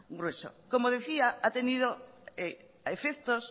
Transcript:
grueso como decía ha tenido a efectos